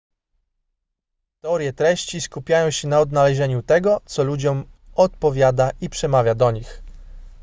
teorie treści skupiają się na odnalezieniu tego co ludziom odpowiada i przemawia do nich